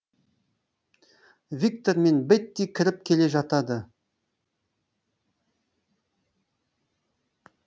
виктор мен бетти кіріп келе жатады